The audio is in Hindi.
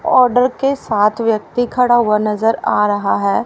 ऑर्डर के साथ व्यक्ति खड़ा हुआ नजर आ रहा है।